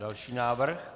Další návrh.